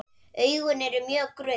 Augun eru mjög grunn.